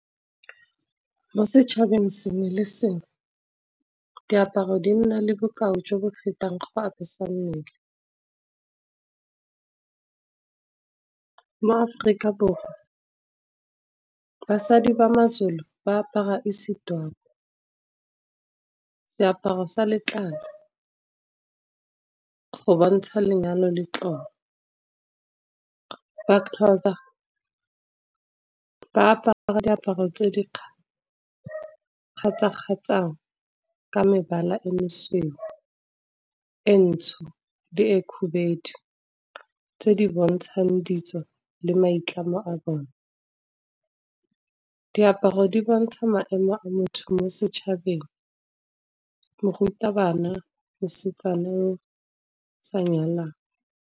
Mo setšhabeng sengwe le sengwe diaparo di nna le bokao jo bo fetang go apesa mmele. Mo Aforika Borwa basadi ba maZulu ba apara isidwaba, seaparo sa letlalo go bontsha lenyalo le tlolo. MaXhosa ba apara diaparo tse di kgatsha-kgatshang ka mebala e mesweu, e ntsho le e kgubedu, tse di bontshang ditso le maitlamo a bone. Diaparo di bontsha maemo a motho mo setšhabeng, morutabana, mosetsana yo o sa nyalwang.